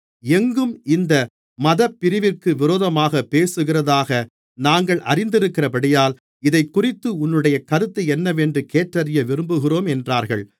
எங்கும் இந்த மதப்பிரிவிற்கு விரோதமாகப் பேசுகிறதாக நாங்கள் அறிந்திருக்கிறபடியால் இதைக்குறித்து உன்னுடைய கருத்து என்னவென்று கேட்டறிய விரும்புகிறோம் என்றார்கள்